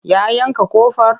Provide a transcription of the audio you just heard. Ya yanka ƙofar?